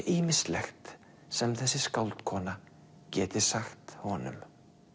ýmislegt sem þessi skáldkona geti sagt honum út